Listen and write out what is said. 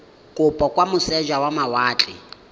kopo kwa moseja wa mawatle